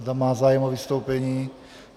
Zda má zájem o vystoupení?